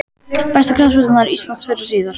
Besti knattspyrnumaður íslands fyrr og síðar?